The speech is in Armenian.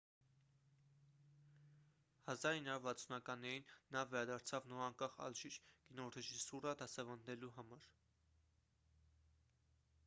1960-ականներին նա վերադարձավ նորանկախ ալժիր կինոռեժիսուրա դասավանդելու համար